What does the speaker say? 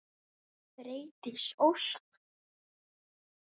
Freydís Ósk.